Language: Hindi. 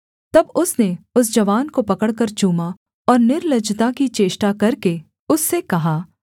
तब उसने उस जवान को पकड़कर चूमा और निर्लज्जता की चेष्टा करके उससे कहा